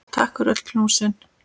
Takk fyrir öll knúsin.